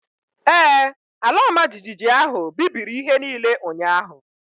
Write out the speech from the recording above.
Ee, ala ọma jijiji ahụ bibiri ihe niile ụnyaahụ